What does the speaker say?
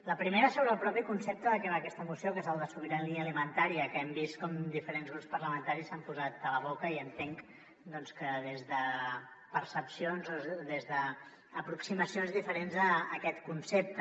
la primera sobre el propi concepte de què va aquesta moció que és el de sobirania alimentària que hem vist com diferents grups parlamentaris se l’han posat a la boca i entenc doncs que des de percepcions o des d’aproximacions diferents d’aquest concepte